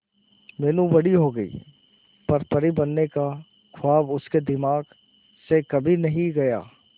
मीनू बड़ी हो गई पर परी बनने का ख्वाब उसके दिमाग से कभी नहीं गया